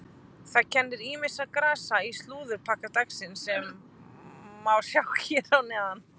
Það kennir ýmissa grasa í slúðurpakka dagsins sem sjá má hér að neðan.